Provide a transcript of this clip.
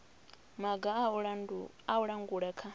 maga a u langula kha